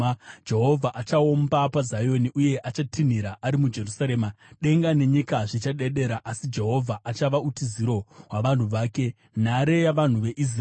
Jehovha achaomba paZioni, uye achatinhira ari muJerusarema; denga nenyika zvichadedera. Asi Jehovha achava utiziro hwavanhu vake, nhare yavanhu veIsraeri.